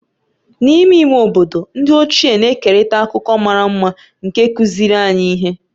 N'ime ime obodo, ndị ochie na-ekerịta akụkọ mara mma nke kụziiri anyị ihe.